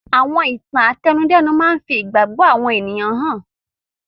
Àwọn ìtàn àtẹnudẹ́nu máa ń fi ìgbàgbọ́ àwọn ènìyàn hàn.